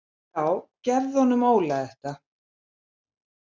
Já gefðu honum Óla þetta.